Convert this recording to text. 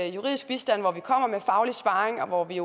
juridisk bistand hvor vi kommer med faglig sparring og hvor vi